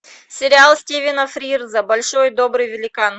сериал стивена фрирза большой и добрый великан